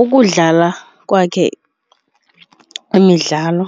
Ukudlala kwakhe imidlalo